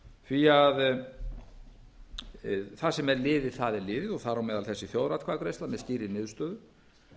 því að það sem er liðið það er liðið og þar á eða þessi þjóðaratkvæðagreiðsla með skýrri niðurstöðu